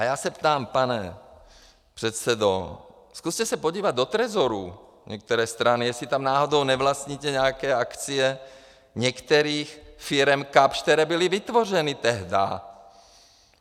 A já se ptám, pane předsedo, zkuste se podívat do trezoru některé strany, jestli tam náhodou nevlastníte nějaké akcie některých firem Kapsch, které byly vytvořeny tehdá.